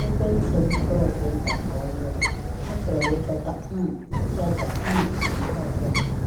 Ekwentị m fọrọ nke nta ka ọ nyụọ; achọrọ m ịchọta um chaja um ngwa ngwa.